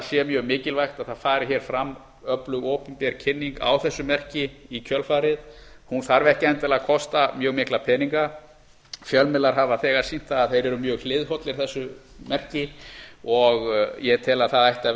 sé mjög mikilvægt að það fari hér fram öflug opinber kynning á þessi merki í kjölfarið hún þarf ekki endilega að kosta mjög mikla peninga fjölmiðlar hafa þegar sýnt það að þeir eru mjög hliðhollir þessu merki og ég tel að það ætti að